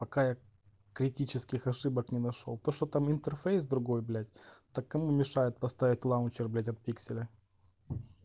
пока я критических ошибок не нашёл то что там интерфейс другой блять так кому мешает поставить лаунчер блять от пикселя